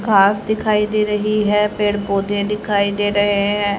car दिखाई दे रही है पेड़ पौधे दिखाई दे रहे--